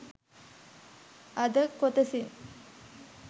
අද කොටසින්